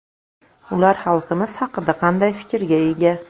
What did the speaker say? Ular xalqimiz haqida qanday fikrga ega?